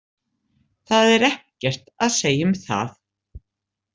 Það er ekkert að segja um það.